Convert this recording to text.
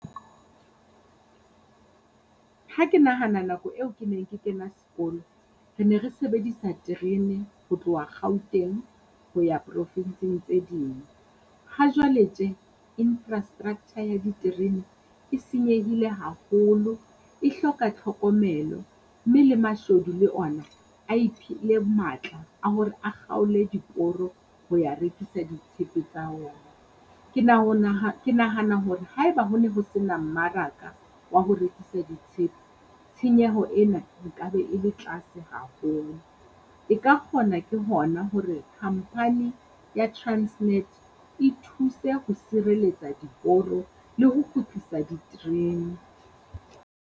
Ha ke nahana nako eo ke neng ke kena sekolo, re ne re sebedisa terene ho tloha Gauteng ho ya province-ng tse ding. Hajwale tje infrastructure ya diterene e senyehile haholo, e hloka tlhokomelo, mme le mashodu le ona a iphile matla a hore a kgaole diporo ho ya rekisa ditshepe tsa ona. Ke na ho ke nahana hore haeba ho na ho sena mmaraka wa ho rekisa ditshepe tshenyeho ena e ka be e le tlase haholo. E ka kgona ke hona hore company ya Transnet e thuse ho sireletsa diporo le ho kgutlisa diterene.